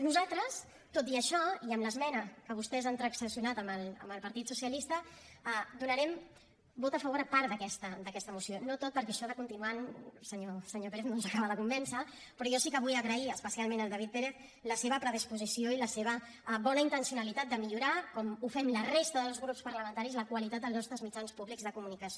nosaltres tot i això i amb l’esmena que vostès han transaccionat amb el partit socialista donarem vot a favor a part d’aquesta moció no a tota perquè això de continuant senyor pérez no ens acaba de convèncer però jo sí que vull agrair especialment al david pérez la seva predisposició i la seva bona intencionalitat de millorar com fem la resta dels grups parlamentaris la qualitat dels nostres mitjans públics de comunicació